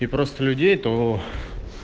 и просто людей то